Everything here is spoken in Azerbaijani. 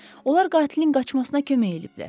Onlar qatilin qaçmasına kömək ediblər.